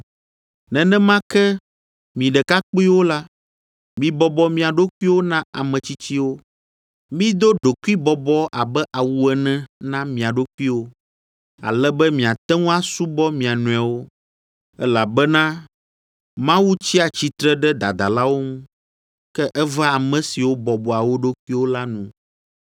Nenema ke, mi ɖekakpuiwo la, mibɔbɔ mia ɖokuiwo na ame tsitsiwo. Mido ɖokuibɔbɔ abe awu ene na mia ɖokuiwo, ale be miate ŋu asubɔ mia nɔewo, elabena, “Mawu tsia tsitre ɖe dadalawo ŋu, ke evea ame siwo bɔbɔa wo ɖokuiwo la nu.”